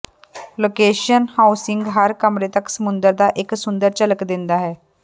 location housing ਹਰ ਕਮਰੇ ਤੱਕ ਸਮੁੰਦਰ ਦਾ ਇੱਕ ਸੁੰਦਰ ਝਲਕ ਦਿੰਦਾ ਹੈ